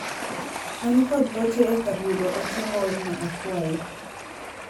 an kod ote e kar yudo ote moorna akwayi